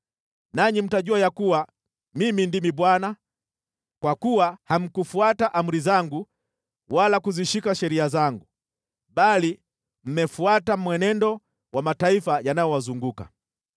Nanyi mtajua ya kuwa Mimi ndimi Bwana , kwa kuwa hamkufuata amri zangu wala kuzishika sheria zangu, bali mmefuata mwenendo wa mataifa yanayowazunguka.”